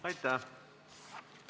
Aitäh!